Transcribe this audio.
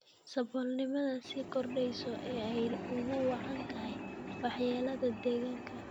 Saboolnimada sii kordheysa ee ay ugu wacan tahay waxyeelada deegaanka.